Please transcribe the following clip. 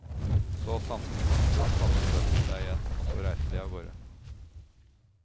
Så sanset kongssønnen seg igjen, og så reiste de av gårde.